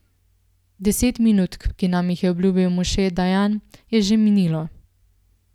Deset minut, ki nam jih je obljubil Moše Dajan, je že minilo.